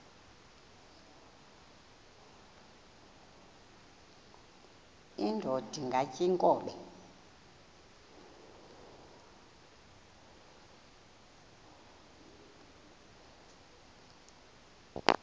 indod ingaty iinkobe